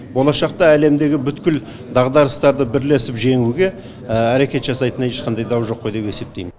болашақта әлемдегі бүткіл дағдарыстарды бірлесіп жеңуге әрекет жасайтынына ешқандай дау жоқ қой деп есептейм